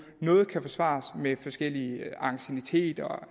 noget kan forklares med forskellig anciennitet og